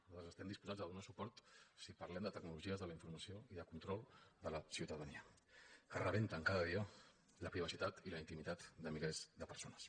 nosaltres estem disposats a donar hi suport si parlem de tecnologies de la informació i de control de la ciutadania que rebenten cada dia la privacitat i la intimitat de milers de persones